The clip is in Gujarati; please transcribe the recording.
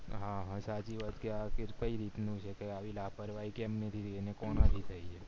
હા હા સાચી વાત કે આ કય રીતનું છે કે આવી લાપરવાહી કેમ થય અને કોનાથી થય